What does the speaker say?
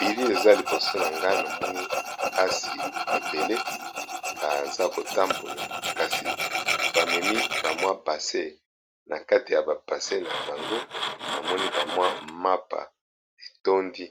Bilili eza liboso nangai namoni basi ebele bazo tambola kasi basin nakati ya ba basin nabango eza ba mapa etondi